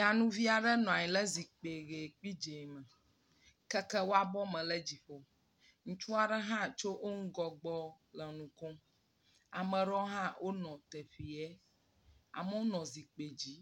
Nyɔnuvi aɖe nɔ anyi ɖe zikpui ʋi kple dzɛ̃ me keke wɔ abɔ me ɖe dziƒo. Ŋutsu aɖe hã tso yo ŋgɔgbe le nu kom. Ame aɖewo hã wonɔ teƒea. Amewo nɔ zikpui dzi.